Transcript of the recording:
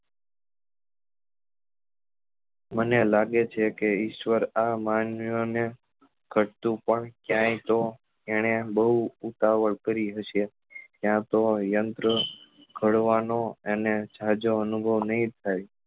મને લાગે છે કે ઈશ્વર આ માનવી ઓ ને ગળતું પણ ક્યાય તો એને બઉ ઉતાવળ કરી હશે યા તો યંત્ર ગડવા નો એને જાજો અનુભવ નહિ થાય